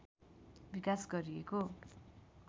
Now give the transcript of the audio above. विकास गरिएको